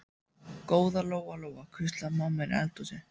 Góða Lóa Lóa, hvíslaði mamma inni í eldhúsi.